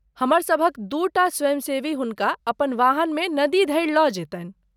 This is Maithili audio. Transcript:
हमरसभक दूटा स्वयंसेवी हुनका अपन वाहनमे नदी धरि लऽ जैतनि।